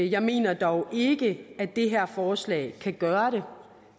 jeg mener dog ikke at det her forslag kan gøre